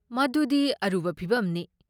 ꯃꯗꯨꯗꯤ ꯑꯔꯨꯕ ꯐꯤꯚꯝꯅꯤ꯫